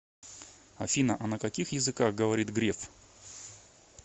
афина а на каких языках говорит греф